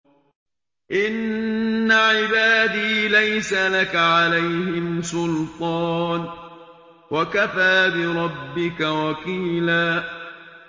إِنَّ عِبَادِي لَيْسَ لَكَ عَلَيْهِمْ سُلْطَانٌ ۚ وَكَفَىٰ بِرَبِّكَ وَكِيلًا